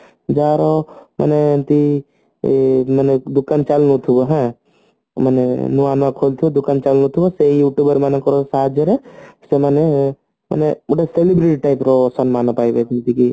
ଯାହାର ମାନେ ଏମତି ଉଁ ମାନେ ଦୋକାନ ଚାଲୁନଥିବ ମାନେ ନୂଆ ନୂଆ ଖୋଲି ଥିବ ଦୋକାନ ଚାଲୁ ନଥିବ ସେଇ Youtuber ମାନଙ୍କ ସାହାଯ୍ୟରେ ସେମାନେ ମାନେ ଗୋଟେ celebrate type ର ସମ୍ମାନ ପାଇବେ ଯେମତିକି